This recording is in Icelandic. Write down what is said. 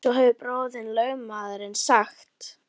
Svo hefur bróðir þinn lögmaðurinn sagt!